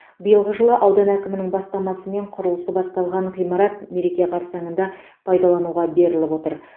биылғы жылы аудан әкімінің бастамасымен құрылысы басталған ғимарат мереке қарсаңында пайдалануға беріліп отыр